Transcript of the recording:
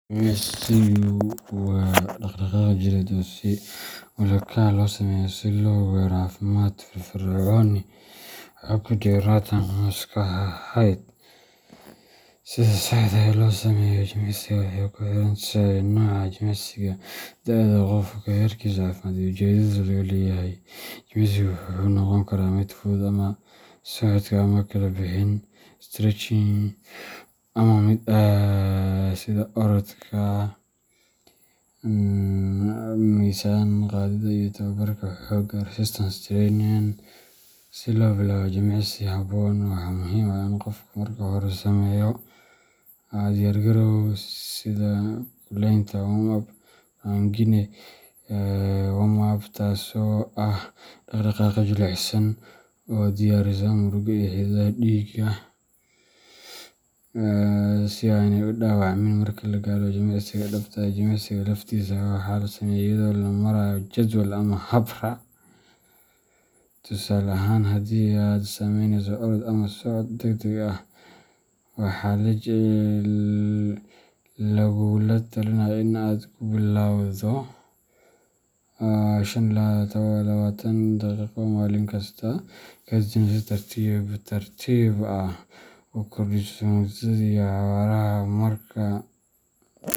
Jimicsigu waa dhaqdhaqaaq jireed oo si ula kac ah loo sameeyo si loo gaaro caafimaad, firfircooni, iyo xoog jidheed ama maskaxeed. Sida saxda ah ee loo sameeyo jimicsi waxay ku xiran tahay nooca jimicsiga, da’da qofka, heerkiisa caafimaad, iyo ujeedada laga leeyahay. Jimicsiga wuxuu noqon karaa mid fudud sida socodka ama kala bixin stretching, ama mid adag sida orodka, miisaan qaadidda, iyo tababarka xoogga resistance training. Si loo bilaabo jimicsi habboon, waxaa muhiim ah in qofku marka hore sameeyo diyaargarow sida kululaynta warm-up taasoo ah dhaqdhaqaaqyo jilicsan oo diyaarisa murqaha iyo xididdada dhiigga si aanay u dhaawacmin marka la galo jimicsiga dhabta ah. Jimicsiga laftiisa waxaa la sameeyaa iyadoo loo marayo jadwal ama hab raac. Tusaale ahaan, haddii aad sameyneyso orod ama socod degdeg ah, waxaa lagugula talinayaa in aad ku bilowdo toban ilaa shan iyo labatan daqiiqo maalin kasta, kadibna si tartiib tartiib ah u kordhiso muddada iyo xawaaraha marka.